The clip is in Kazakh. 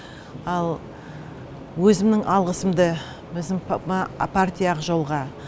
ал өзімнің алғысымды өзім партия ақ жол ға